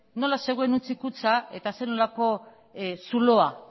nola zegoen hutsik kutxa eta zer nolako zuloa